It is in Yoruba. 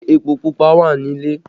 Ṣé epo Pupa wà nílé?